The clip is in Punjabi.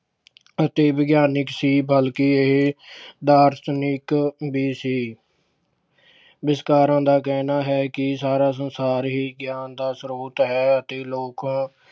ਅਤੇ ਵਿਗਿਆਨਿਕ ਸੀ ਬਲਕਿ ਇਹ ਦਾਰਸ਼ਨਿਕ ਵੀ ਸੀ। ਵਿਚਾਰਕਾਂ ਦਾ ਕਹਿਣਾ ਹੈ ਕਿ ਸਾਰਾ ਸੰਸਾਰ ਹੀ ਗਿਆਨ ਦਾ ਸ੍ਰੋਤ ਹੈ ਅਤੇ ਲੋਕ